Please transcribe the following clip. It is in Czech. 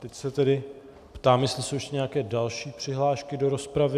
Teď se tedy ptám, jestli jsou ještě nějaké další přihlášky do rozpravy.